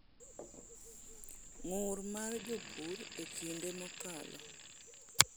ng’ur mar jopur e kinde mokalo?